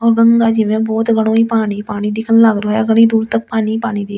और गंगा जी में बहुत ही गढ़ो पानी पानी दिखने लाग रहो है घढ़ी दूर तक पानी पानी दिख रहो है।